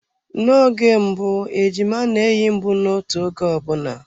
Na-oge mbụ ejima na-eyi mbunotu oge ọbụna.